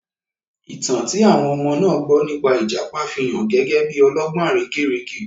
Ìtàn tí àwọn ọmọ náà gbọ́ nípa ìjàpá fi hàn gẹ́gẹ́ bí ọlọ́gbọ́n àrekérekè.